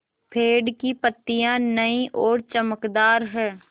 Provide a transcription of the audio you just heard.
पेड़ की पतियां नई और चमकदार हैँ